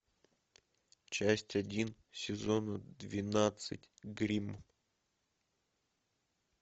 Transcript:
часть один сезона двенадцать гримм